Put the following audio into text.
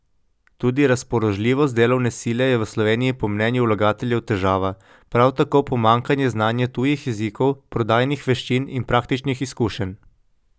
Tudi razpoložljivost delovne sile je v Sloveniji po mnenju vlagateljev težava, prav tako pomanjkanje znanje tujih jezikov, prodajnih veščin in praktičnih izkušenj.